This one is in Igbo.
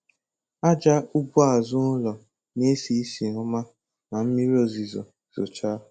Aja ugbo azụ ụlọ na-esi ísì ọma ma mmiri ozizo zochaa.